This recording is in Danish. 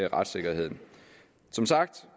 retssikkerheden som sagt